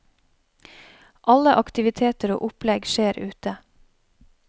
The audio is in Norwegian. Alle aktiviteter og opplegg skjer ute.